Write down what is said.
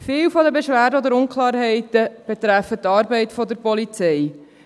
Viele der Beschwerden oder Unklarheiten betreffen die Arbeit der Polizei.